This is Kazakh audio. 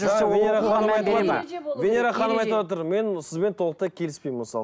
венера ханым айтыватыр мен сізбен толықтай келіспеймін мысалы